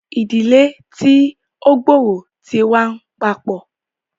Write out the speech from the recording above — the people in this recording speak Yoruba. Ìdílé tí o gb'ọrọ tí n wà papọ